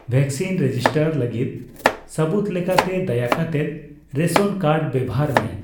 Vaccine register ᱞᱟᱹᱜᱤᱫ ᱥᱟᱹᱵᱩᱫ ᱞᱮᱠᱟᱛᱮ ᱫᱟᱭᱟ ᱠᱟᱛᱮᱫ ᱨᱮᱥᱚᱱ ᱠᱟᱨᱰᱲ ᱵᱮᱵᱚᱦᱟᱨ ᱢᱮ ᱾